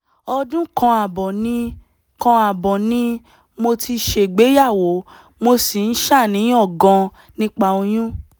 ọdún kan ààbọ̀ ni kan ààbọ̀ ni mo ti ṣègbéyàwó mo sì ń ṣàníyàn gan-an nípa oyún